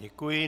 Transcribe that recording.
Děkuji.